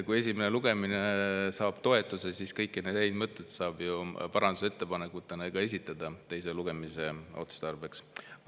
Kui esimene lugemine saab toetuse, siis kõiki neid häid mõtteid saab ju parandusettepanekutena esitada teise lugemise tarbeks.